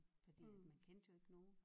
Fordi at man kendte jo ikke nogen